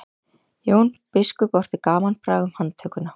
jón biskup orti gamanbrag um handtökuna